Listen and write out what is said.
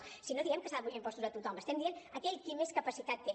o sigui no diem que s’hagin d’apujar els impostos a tothom estem dient a aquell qui més capacitat té